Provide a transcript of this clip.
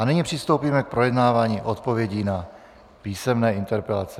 A nyní přistoupíme k projednávání odpovědí na písemné interpelace.